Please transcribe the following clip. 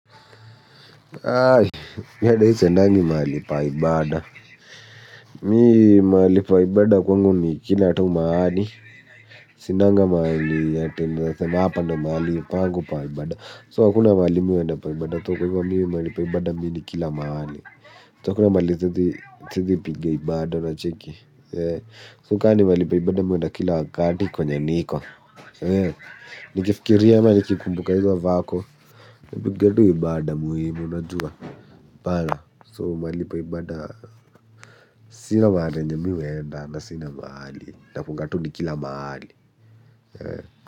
Mimi ata siendangi mahali pa ibada. Mimi mahali pa ibada kwangu ni kila tu mahali. Sinanga maalii ya tenazatema hapa ndo mhali ipangu paibada. So akuna maali muenda paibada toko hivwa mi mahali paibada mi nikila maali. So akuna maali siezi piga ibada na cheki. So kani mhali paibada mi uenda kila wakati kwenye niko. Nikifikiria ama ni kikumbuka hizo vako. Nipiga tu ibada muhimu na juwa. Bala. So mali paibada. Sina mahala yenye mi huenda. Sina mahali. Nafungatu ni kila mahali.